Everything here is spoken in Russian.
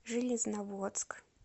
железноводск